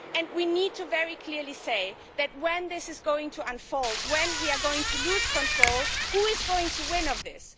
We need to say very clearly that when this is going to unfold, when we are going to lose control, who is going to win from this?